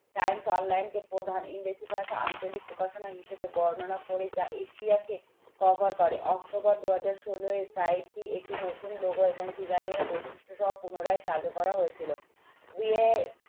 times online কে প্রধান ইংরেজি ভাষা আঞ্চলিক প্রকাশনা হিসেবে বর্ণনা করে যা এশিয়া কে cover করে October দু হাজার ষোলো একটি নতুন logo এবং design এর বৈশিষ্ট্যসহ পুনরায় চালু করা হয়েছিল